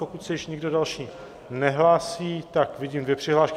Pokud se již nikdo další nehlásí, tak... vidím dvě přihlášky.